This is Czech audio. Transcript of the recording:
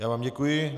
Já vám děkuji.